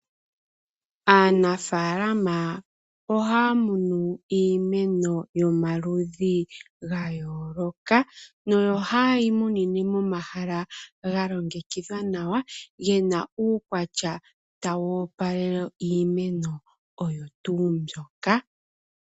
Aanafalama ohaya munu iimeno yomaludhi ga yooloka, nohaye yi munine momahala ga longekidhwa nawa ge na uukwatya tawu opalele iimeno oyo tuu mbyoka.